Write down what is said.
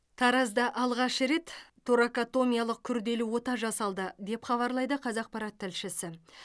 таразда алғаш рет торакотомиялық күрделі ота жасалды деп хабарлайды қазақпарат тілшісі